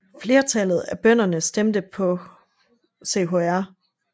Flertallet af bønderne stemte på Chr